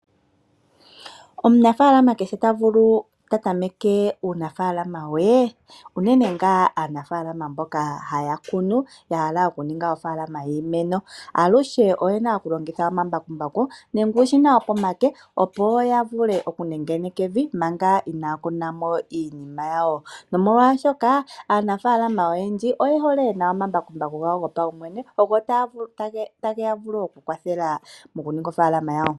Omunafaalama kehe ta tameke uunafaalama we unene ngaa aanafaalama mboka haya kunu ya hala okuninga ofaalama yiimeno, aluhe oye na okulongitha omambakumbaku nenge uushina wopomake opo ya vule okunengeneka evi manga inaya kuna mo iinima yawo, nomolwashoka aanafaalama oyendji pye hole ye na omambakumbaku gawo gopaumwene, ogo taga vulu oku ya kwathela mokuninga ofaalama yawo.